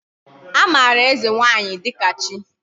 Amara eze nwanyi dika chi